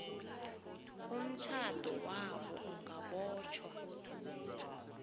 umtjhado wabo ungabotjhwa